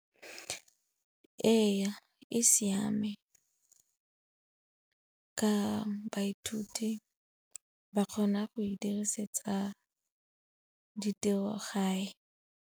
Ee, e siame ka baithuti ba kgona go e dirisetsa ditirogae.